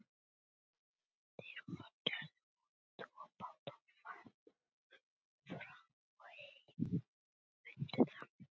Þeir gerðu út tvo báta, Fram og Heim.